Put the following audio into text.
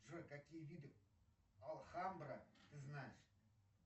джой какие виды алхамбра ты знаешь